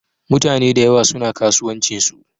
Mutaneda yawa suna kasuwancinsu.